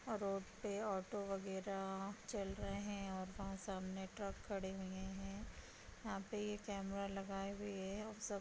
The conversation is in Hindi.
रोड पे ऑटो वगेरा चल रहे हैं और वहाँ सामने ट्रक खड़े हुए हैं। यहां पे कैमरा लगाए हुए है और सब --